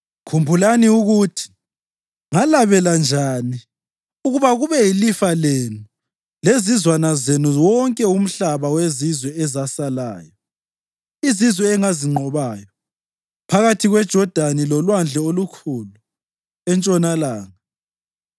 Khumbulani ukuthi ngalabela njani ukuba kube yilifa lenu lezizwana zenu wonke umhlaba wezizwe ezasalayo, izizwe engazinqobayo, phakathi kweJodani loLwandle Olukhulu entshonalanga.